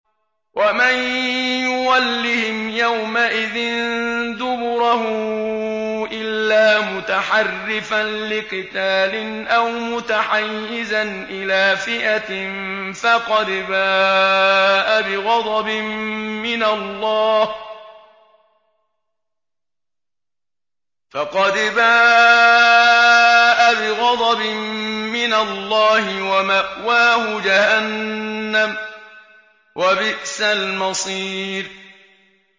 وَمَن يُوَلِّهِمْ يَوْمَئِذٍ دُبُرَهُ إِلَّا مُتَحَرِّفًا لِّقِتَالٍ أَوْ مُتَحَيِّزًا إِلَىٰ فِئَةٍ فَقَدْ بَاءَ بِغَضَبٍ مِّنَ اللَّهِ وَمَأْوَاهُ جَهَنَّمُ ۖ وَبِئْسَ الْمَصِيرُ